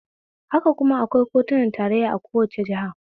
Haka kuma akwai kotunan tarayya a kowane jiha